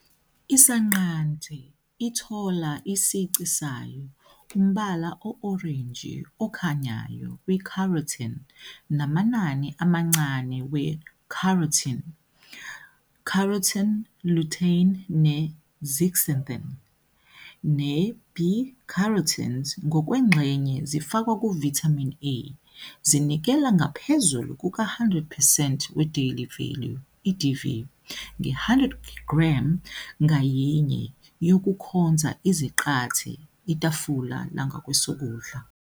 Isanqante ithola isici sayo, umbala o-orenji okhanyayo ku- β-carotene, namanani amancane we- α-carotene, γ-carotene, lutein, ne- zeaxanthin. α- ne-β-carotenes ngokwengxenye zifakwa ku- vitamin A, zinikela ngaphezu kuka-100 percent we- Daily Value, DV, nge-100 g ngayinye yokukhonza izaqathe, itafula langakwesokudla.